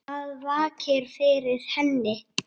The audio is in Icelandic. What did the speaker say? Hvað vakir fyrir henni?